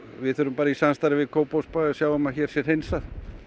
við þurfum bara í samstarfi við Kópavogsbæ að sjá um að hér sé hreinsað